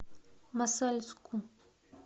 мосальску